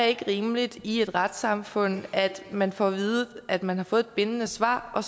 ikke er rimeligt i et retssamfund at man får at vide at man har fået et bindende svar og